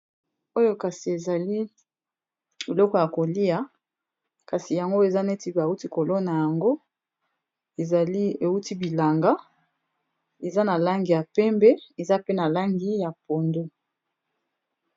Oyo kasi ezali biloko ya kolia, kasi yango eza neti bauti kolona yango ezali euti bilanga eza na langi ya pembe eza pe na langi ya pondo.